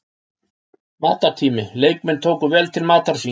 Matartími: Leikmenn tóku vel til matar síns.